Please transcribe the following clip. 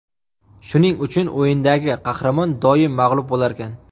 Shuning uchun o‘yindagi qahramon doim mag‘lub bo‘larkan.